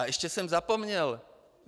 A ještě jsem zapomněl.